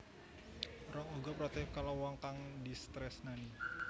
Ron uga protektif karo wong kang ditresnani